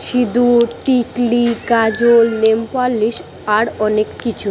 সিঁদুর টিকলি কাজল নেলপালিশ আর অনেক কিছু--